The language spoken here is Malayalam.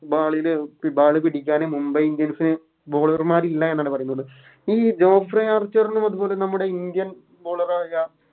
പിടിക്കാനും Mumbai indians bowler മാരില്ല എന്നാണ് പറയുന്നത് ഈ അത് പോലെ നമ്മുടെ Indian bowler ആയ